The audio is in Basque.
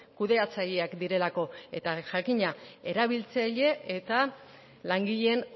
kudeatzaileak direlako eta jakina erabiltzaile eta langileen